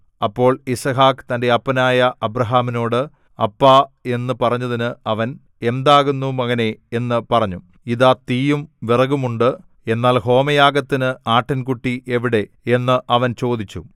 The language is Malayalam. അപ്പോൾ യിസ്ഹാക്ക് തന്റെ അപ്പനായ അബ്രാഹാമിനോട് അപ്പാ എന്നു പറഞ്ഞതിന് അവൻ എന്താകുന്നു മകനേ എന്നു പറഞ്ഞു ഇതാ തീയും വിറകുമുണ്ട് എന്നാൽ ഹോമയാഗത്തിന് ആട്ടിൻകുട്ടി എവിടെ എന്ന് അവൻ ചോദിച്ചു